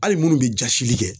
Hali minnu bɛ jasili kɛ